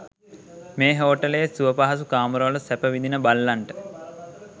මේ හෝටලයේ සුවපහසු කාමරවල සැප විඳින බල්ලන්ට